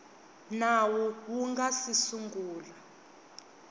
nawu wu nga si sungula